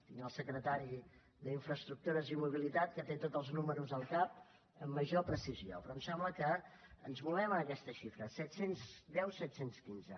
hi ha el secretari d’infraestructures i mobilitat que té tots els números al cap amb major precisió però em sembla que ens movem en aquesta xifra set cents i deu set cents i quinze